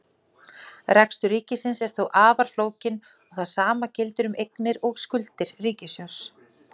Rekstur ríkisins er þó afar flókinn og það sama gildir um eignir og skuldir ríkissjóðs.